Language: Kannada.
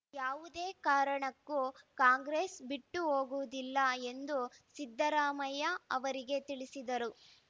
ಯಾವುದೇ ಕಾರಣಕ್ಕೂ ಕಾಂಗ್ರೆಸ್‌ ಬಿಟ್ಟು ಹೋಗುವುದಿಲ್ಲ ಎಂದು ಸಿದ್ದರಾಮಯ್ಯ ಅವರಿಗೆ ತಿಳಿಸಿದರು